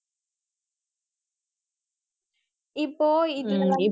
இப்போ இதுல வந்து